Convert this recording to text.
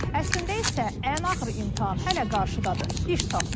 Əslində isə ən ağır imtahan hələ qarşıdadır: iş tapmaq.